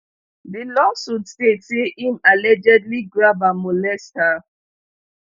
di lawsuit state say im allegedly grab and molest her